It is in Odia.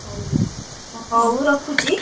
ହଉ ହଉ ହଉ ରଖୁଛି।